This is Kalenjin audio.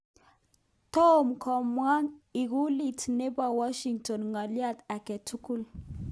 Tom komong ikulut nebo Washington ng'alyo age tugul